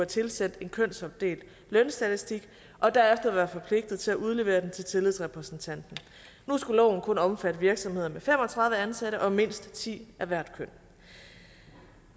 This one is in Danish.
tilsendt en kønsopdelt lønstatistik og derefter være forpligtet til at udlevere den til tillidsrepræsentanten nu skulle loven kun omfatte virksomheder med fem og tredive ansatte og med mindst ti af hvert køn